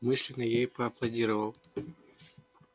мысленно я ей поаплодировал